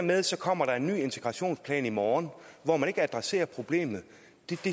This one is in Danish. med at så kommer der en ny integrationsplan i morgen hvor man ikke adresserer problemet